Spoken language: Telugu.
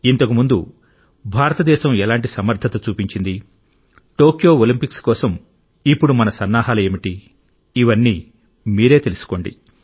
ఇంతకు ముందు భారతదేశం ఎలాంటి సమర్థత చూపించింది టోక్యో ఒలింపిక్స్ కోసం ఇప్పుడు మన సన్నాహాలు ఏమిటి ఇవన్నీ మీరే తెలుసుకోండి